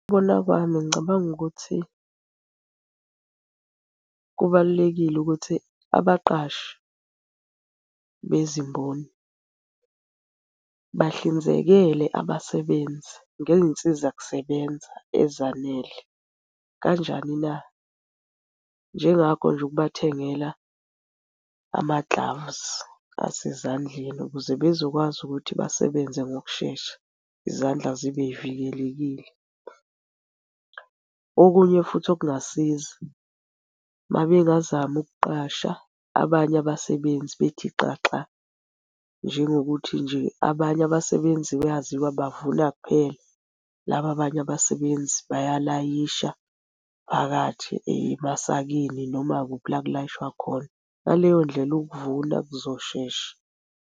Ngokubona kwami ngicabanga ukuthi, kubalulekile ukuthi abaqashi bezimboni bahlinzekele abasebenzi ngey'nsiza kusebenza ezanele. Kanjani na? Njengakho nje ukubathengela ama-gloves asezandleni ukuze bezokwazi ukuthi basebenze ngokushesha izandla zibe y'vikelekile. Okunye futhi okungasiza, uma bengazama ukuqasha abanye abasebenzi bethi xaxa, njengokuthi nje abanye abasebenzi bayaziwa bavuna kuphela, laba abanye abasebenzi bayalayisha phakathi emasakeni noma kuphi la ekulayishwa khona. Ngaleyo ndlela ukuvuna kuzoshesha.